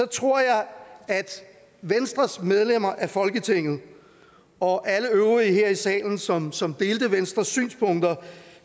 tror jeg at venstres medlemmer af folketinget og alle øvrige her i salen som som delte venstres synspunkter